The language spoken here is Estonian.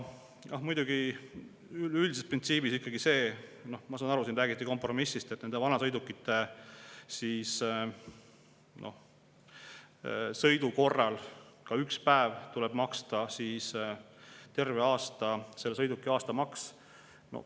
Ja muidugi üldises printsiibis ikkagi see, noh, ma saan aru, siin räägiti kompromissist, et nende vanasõidukite puhul, isegi kui see sõidab üks päev aastas, tuleb maksta terve aasta eest selle sõiduki aastamaks.